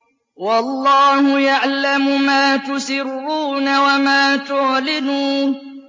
وَاللَّهُ يَعْلَمُ مَا تُسِرُّونَ وَمَا تُعْلِنُونَ